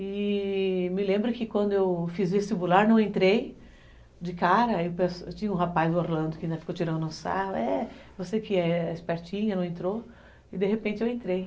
E me lembro que quando eu fiz vestibular, não entrei de cara, aí tinha um rapaz do Orlando que ainda ficou tirando a nossa aula, você que é espertinha, não entrou, e de repente eu entrei.